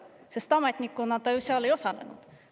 Sest ametnikuna ta ju seal ei osalenud.